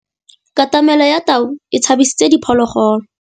Katamêlô ya tau e tshabisitse diphôlôgôlô.